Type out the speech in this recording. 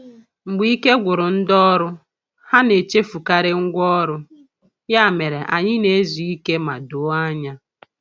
Mgbe ike gwụrụ ndị ọrụ, ha na-echefukarị ngwá ọrụ, ya mere anyị na-ezu ike ma doo anya.